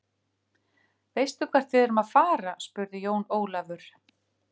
Veistu hvert við erum að fara, spurði Jón Ólafur.